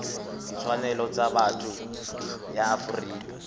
ditshwanelo tsa botho ya afrika